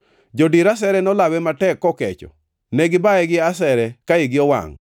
Jodir asere nolawe matek kokecho, ne gibaye gi asere ka igi owangʼ.